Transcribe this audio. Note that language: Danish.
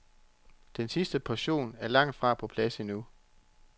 Den sidste portion er langt fra på plads endnu.